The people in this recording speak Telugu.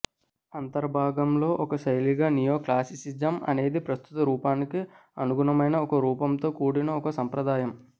అంతర్భాగంలో ఒక శైలిగా నియోక్లాసిసిజం అనేది ప్రస్తుత రూపానికి అనుగుణమైన ఒక రూపంతో కూడిన ఒక సంప్రదాయం